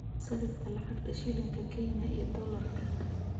sarifka lacagta shilinka kenya iyo dollarka